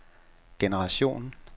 generation